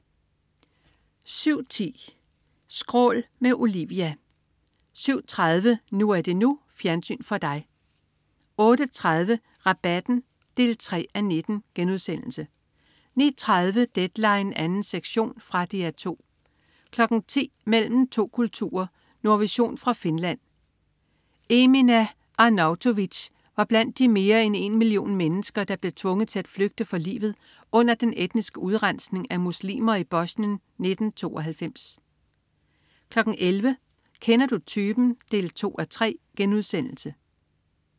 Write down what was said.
07.10 Skrål. Med Olivia 07.30 NU er det NU. Fjernsyn for dig 08.30 Rabatten 3:19* 09.30 Deadline 2. sektion. Fra DR 2 10.00 Mellem to kulturer. Nordvision fra Finland. Emina Arnautovic var blandt de mere end en million mennesker, der blev tvunget til flygte for livet under den etniske udrensning af muslimer i Bosnien i 1992 11.00 Kender du typen? 2:3*